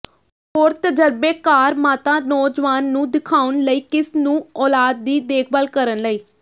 ਹੋਰ ਤਜਰਬੇਕਾਰ ਮਾਤਾ ਨੌਜਵਾਨ ਨੂੰ ਦਿਖਾਉਣ ਲਈ ਕਿਸ ਨੂੰ ਔਲਾਦ ਦੀ ਦੇਖਭਾਲ ਕਰਨ ਲਈ